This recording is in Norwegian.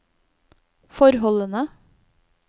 forholdene